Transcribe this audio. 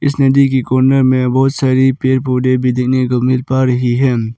इस नदी के कोने में बहुत सारी पेड़ पौधे भी देखने को मिल पा रही है।